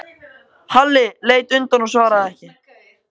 Halli leit undan og svaraði ekki.